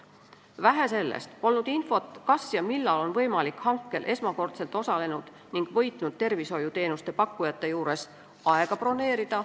Vähe sellest, polnud infot, kas ja millal on võimalik hankel esmakordselt osalenud ning võitnud tervishoiuteenuste pakkujate juures aega broneerida.